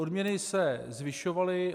Odměny se zvyšovaly.